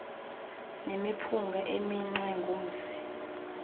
nemiphunga eminxwe ngumsi